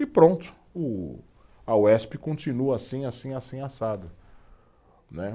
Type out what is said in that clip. E pronto, o a Uesp continua assim, assim, assim, assado, né.